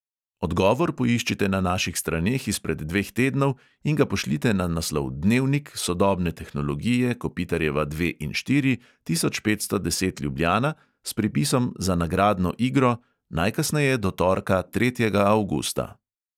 Odgovor poiščite na naših straneh izpred dveh tednov in ga pošljite na naslov dnevnik, sodobne tehnologije, kopitarjeva dve in štiri, tisoč petsto deset ljubljana, s pripisom za nagradno igro, najkasneje do torka, tretjega avgusta.